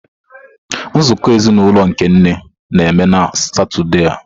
Nzukọ ezinụlọ nke nne na-eme na Satọde a.